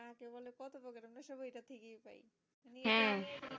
হ্যাঁ